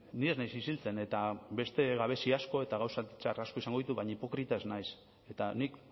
ni ez naiz isiltzen eta beste gabezia asko eta gauza txar asko izango ditut baina hipokrita ez naiz eta nik